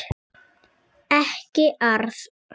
Ekki arða.